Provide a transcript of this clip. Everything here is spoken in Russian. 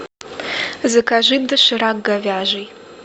закажи доширак говяжий